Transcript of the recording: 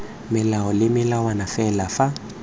melao le melawana le fa